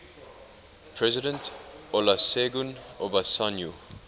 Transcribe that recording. president olusegun obasanjo